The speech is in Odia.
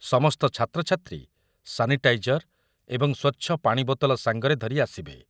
ସମସ୍ତ ଛାତ୍ରଛାତ୍ରୀ ସାନିଟାଇଜର ଏବଂ ସ୍ୱଚ୍ଛ ପାଣି ବୋତଲ ସାଙ୍ଗରେ ଧରି ଆସିବେ ।